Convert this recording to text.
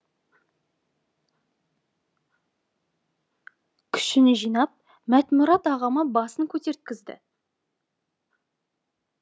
күшін жинап мәтмұрат ағама басын көтерткізді